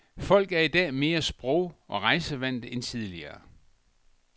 Folk er i dag mere sprog og rejsevante end tidligere.